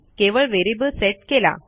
केवळ variable set केला